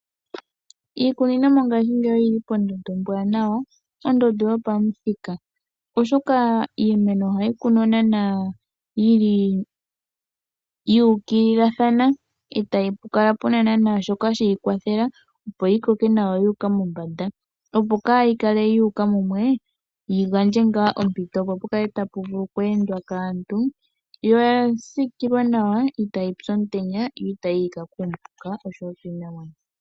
Iikuni mongaashi ngeyi oyili pondondo ombwaanawa, pondondo yopamuthika, oshoka iimeno ohayi kunwa yuukililathana etapukala puna shoka tashii kwathele yi koke nawa yuuka mombanda, opo kaayuke mumwe yi gandja ompito yokweendwa kaantu, yo oyasiikilwa nawa kaayipye omutenya, kayike kuupuka nosho woo kiinamwenyo.